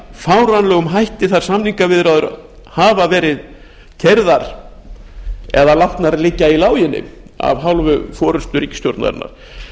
fáránlegum hætti þær samningaviðræður hafa verið keyrðar eða látnar liggja í láginni af hálfu forustu ríkisstjórnarinnar